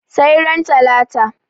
sai ran latala